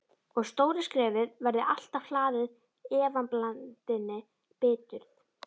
Og stóra skrefið verði alltaf hlaðið efablandinni biturð.